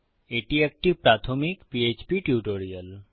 এটি একটি প্রাথমিক পিএচপি টিউটোরিয়াল